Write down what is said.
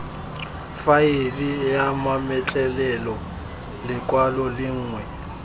faele ya mametlelelo lekwalo lengwe